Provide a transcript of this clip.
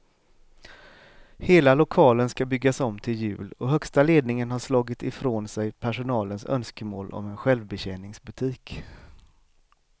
Hela lokalen ska byggas om till jul och högsta ledningen har slagit ifrån sig personalens önskemål om en självbetjäningsbutik.